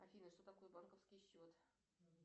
афина что такое банковский счет